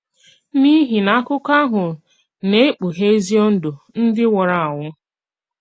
N’ìhì na àkụ̀kọ àhụ na-ekpùghè èzi òndò ndị nwùrù ànwù.